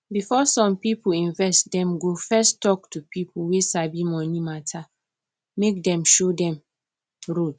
before some people invest dem go first talk to people wey sabi money mata make dem show dem road